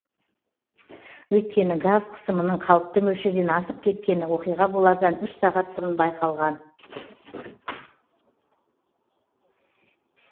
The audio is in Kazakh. өйткені газ қысымының қалыпты мөлшерден асып кеткені оқиға болардан үш сағат бұрын байқалған